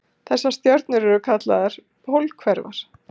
Þessar stjörnur eru kallaðar pólhverfar.